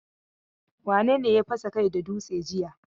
Wane ne ya fasa kai da dutse jiya?